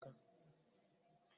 Ee, Obi na-esi osikapa